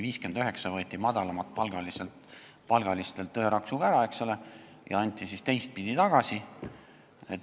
59 eurot võeti madalapalgalistelt ühe raksuga ära, eks ole, ja anti siis teistpidi tagasi.